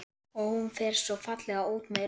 Og hún fer svo fallega út með rusl.